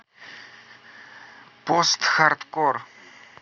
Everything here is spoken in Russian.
постхардкор